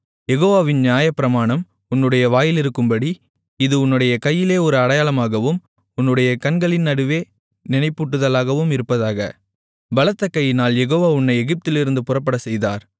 யெகோவாவின் நியாயப்பிரமாணம் உன்னுடைய வாயிலிருக்கும்படி இது உன்னுடைய கையிலே ஒரு அடையாளமாகவும் உன்னுடைய கண்களின் நடுவே நினைப்பூட்டுதலாகவும் இருப்பதாக பலத்த கையினால் யெகோவா உன்னை எகிப்திலிருந்து புறப்படச்செய்தார்